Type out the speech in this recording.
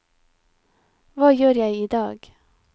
hva gjør jeg idag